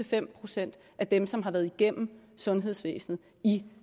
fem procent af dem som har været igennem sundhedsvæsenet i